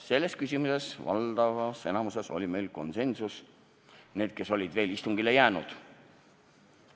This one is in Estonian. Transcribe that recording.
Selles küsimuses saavutasime valdavas enamuses konsensuse, nende seas, kes olid veel istungile jäänud.